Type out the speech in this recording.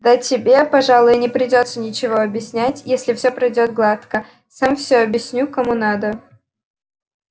да тебе пожалуй и не придётся ничего объяснять если всё пройдёт гладко сам всё объясню кому надо